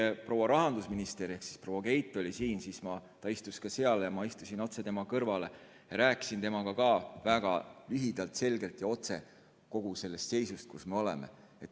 Kui proua rahandusminister ehk proua Keit oli siin, siis ta istus ka seal ja ma istusin tema kõrvale ja rääkisin temaga väga lühidalt, selgelt ja otse kogu sellest seisust, kus me oleme.